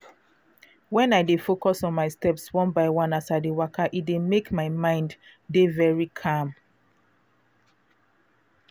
when i dey focus on my steps one by one as i dey waka e dey mek my mind dey very calm.